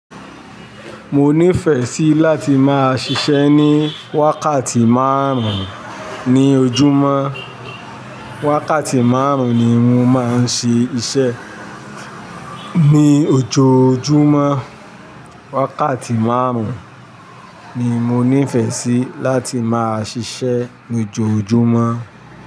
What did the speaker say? Mo nífẹ̀ẹ́ sí láti máa ṣiṣẹ́ ní wákàtí márùn-ún ní ojúmọ́. Wákàtí márùn-ún ni mo máa ń ṣe iṣẹ́ ní ojoojúmọ́. Wákàtí márùn-ún ni mo nífẹ̀ẹ́ sí láti máa ṣiṣẹ́ ní ojoojúmọ́.